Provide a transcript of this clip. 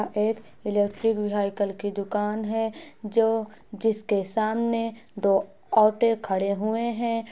एक electric vehicle की दुकान है जो जिसके सामने दो ऑटो खड़े हुए हैं।